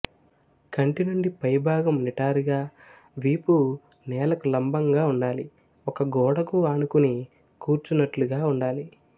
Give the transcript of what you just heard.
కటి నుండి పై భాగం నిటారుగా వీపు నేలకు లంబంగా ఉండాలి ఒక గోడకు ఆనుకుని కూర్చున్నట్లుగా ఉండాలి